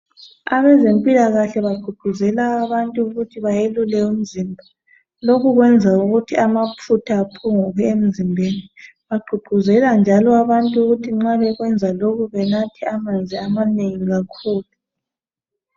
Abezempilakahle bagqugquzela abantu ukuthi bayelule umzimba. Lokhu kuyenza ukuthi amafutha aphungukeemzimbeni. Bagqugquzela njalo abantu ukuthi nxa bekwenza lokhu banathe amanzi amanengi kakhulu.